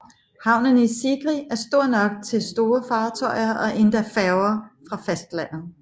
Havnen i Sigri er stor nok til store fartøjer og endda færger fra fastlandet